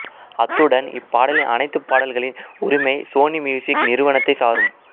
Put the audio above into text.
அத்துடன் இப்பாடலின் அனைத்துப் பாடல்களின் உரிமை சோனி மியூசிக் நிறுவனத்தைச் சாரும்